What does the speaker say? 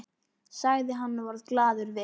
sagði hann og varð glaður við.